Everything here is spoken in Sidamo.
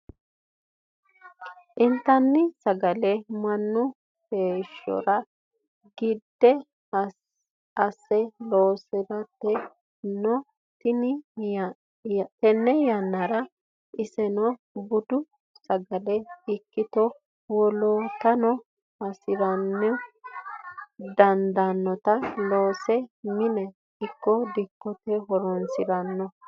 Intanni sagale mannu hasiri gede asse loosiranni no tene yannara iseno budu sagale ikkitto woloottano hasiri danitta loosse mine ikko dikkote horonsirano.